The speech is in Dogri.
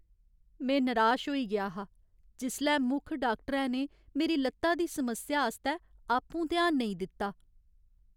में निराश होई गेआ हा जिसलै मुक्ख डाक्टरै ने मेरी लत्ता दी समस्या आस्तै आपूं ध्यान नेईं दित्ता।